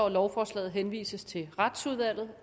at lovforslaget henvises til retsudvalget